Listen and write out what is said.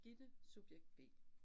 Gitte, subjekt B